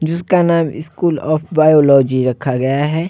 जिसका नाम school of biology रखा गया है।